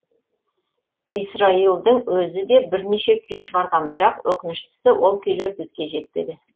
исраилдың өзі де бірнеше күй шығарған бірақ өкініштісі ол күйлер бізге жетпеді